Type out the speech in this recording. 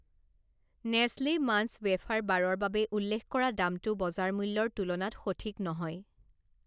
Nestle Munch wafer বাৰৰ বাবে উল্লেখ কৰা দামটো বজাৰ মূল্যৰ তুলনাত সঠিক নহয়।